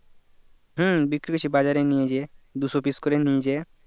হম বিক্রি করছি বাজারে নিয়ে যেয়ে দুশো piece করে নিয়ে যেয়ে